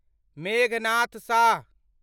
Meghnad Shah